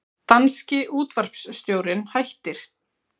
Danski útvarpsstjórinn hættir